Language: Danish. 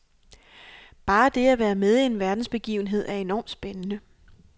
Bare det at være med i en verdensbegivenhed er enormt spændende.